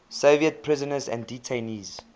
soviet prisoners and detainees